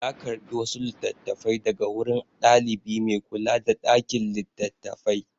Ya karɓi wasu littattafai daga wurin ɗalibi mai kula da ɗakin littattafai.